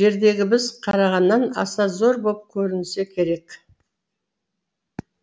жердегі біз қарағаннан аса зор боп көрінсе керек